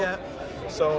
sá